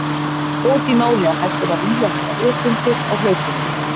Bót í máli að hægt er að rífa þetta upp um sig á hlaupunum.